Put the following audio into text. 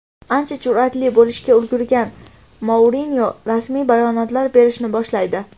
Ancha jur’atli bo‘lishga ulgurgan Mourinyo rasmiy bayonotlar berishni boshlaydi.